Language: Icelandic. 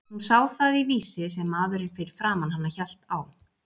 Hún sá það í Vísi sem maðurinn fyrir framan hana hélt á.